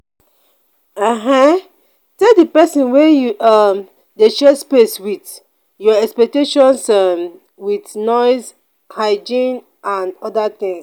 um tell di person wey you um dey share space with your expectations um with noise hygiene and oda things